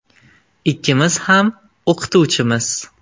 Ikkimiz ham o‘qituvchimiz.